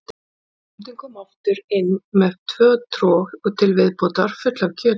Bóndinn kom aftur inn með tvö trog til viðbótar full af kjöti.